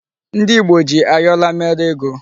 Ndị Ìgbo ji ayọla mere ego.